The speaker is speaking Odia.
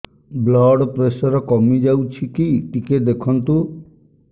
ବ୍ଲଡ଼ ପ୍ରେସର କମି ଯାଉଛି କି ଟିକେ ଦେଖନ୍ତୁ